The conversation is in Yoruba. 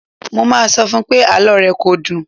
Mo máa sọ fún pé àlọ́ rẹ kò dùn.